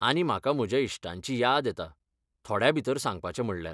आनी म्हाका म्हज्या इश्टांची याद येता, थोड्याभितर सांगपाचें म्हणल्यार.